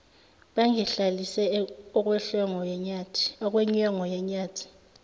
bangilahlise okwenyongo yenyathi